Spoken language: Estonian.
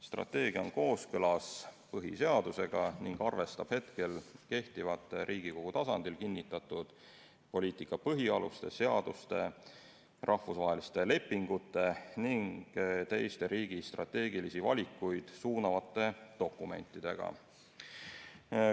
Strateegia on põhiseadusega kooskõlas ning arvestab hetkel kehtivaid Riigikogu tasandil kinnitatud poliitika põhialuseid, seadusi, rahvusvahelisi lepinguid ja teisi riigi strateegilisi valikuid suunavaid dokumente.